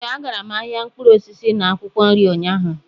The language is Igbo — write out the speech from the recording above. Ee, agara m ahịa mkpụrụ osisi na akwụkwọ nri ụnyaahụ